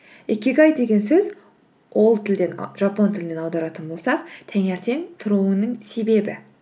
икигай деген сөз ол жапон тілінен аударатын болсақ таңертең тұруының себебі